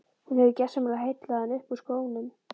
Hún hefur gersamlega heillað hann upp úr skónum.